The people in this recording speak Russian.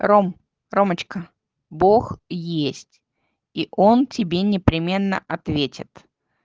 ром ромочка бог есть и он тебе непременно ответит